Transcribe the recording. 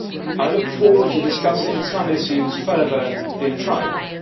I look forward to discussing some issues further in trilogue.